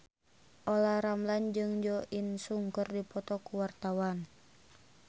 Olla Ramlan jeung Jo In Sung keur dipoto ku wartawan